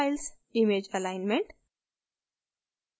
image alignment